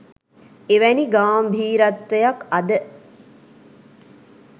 එවැනි ගාම්භීරත්වයක් අද